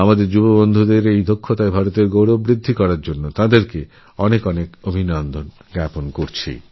আমি এই যুবাখেলোয়ারকে তাঁর সাফল্যের জন্য এবং ভারতের গৌরববৃদ্ধির জন্য অভিনন্দন জানাই